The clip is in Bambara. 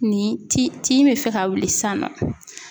Ni tin tin bɛ fɛ ka wuli sisan nɔ